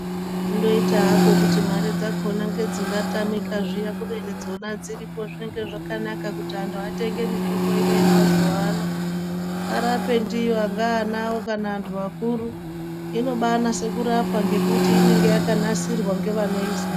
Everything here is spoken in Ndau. Kundoita hako kuti mare dzakona ngedzingatamika zviya kubeni dzona dziripo zvinenge zvakanaka kuti antu atenge mitombo ino yemauzuva ano arape ndiyo angaa ana awo kana antu akuru. Inobaanase kurapa ngekuti inenge yakanasirwa ngevanoiziya.